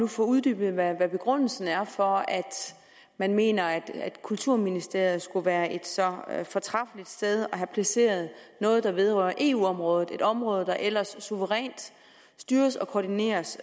få uddybet hvad begrundelsen er for at man mener at kulturministeriet skulle være et så fortræffeligt sted at placere noget der vedrører eu området et område der ellers suverænt styres og koordineres